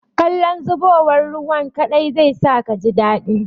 Kallon zubowar ruwan kaɗai zai sa kaji daɗi.